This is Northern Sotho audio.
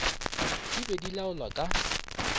di be di laola ka